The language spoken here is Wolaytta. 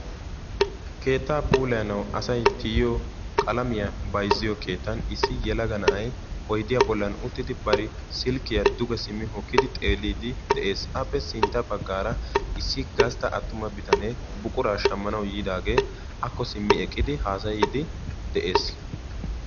Keettaa puulayanaw asay tiyiyoo qalamiya bayzziyo keeettan issi yelaga na"ay oydiyaa bollan uttidi bari silkiyaa duge simmi hokkidi xeelliiddi de'ees. Appe sintta baggaara issi gastta attuma bitanee buquraa shammanawu yiidaagee aakko simmi eqqidi haasayyiiddi de'ees.